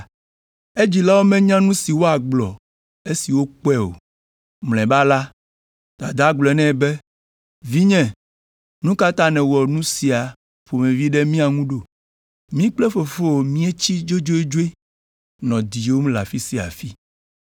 Edzilawo menya nu si woagblɔ esi wokpɔe o. Mlɔeba la, dadaa gblɔ nɛ be, “Vinye, nu ka ta nèwɔ nu sia ƒomevi ɖe mía ŋu ɖo? Mí kple fofowò míetsi dzodzodzoe nɔ diwòm le afi sia afi.”